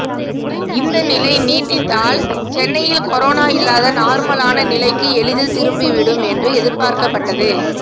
இந்த நிலை நீடித்தால் சென்னையில் கொரோனா இல்லாத நார்மலான நிலைக்கு எளிதில் திரும்பிவிடும் என்று எதிர்பார்க்கப்பட்டது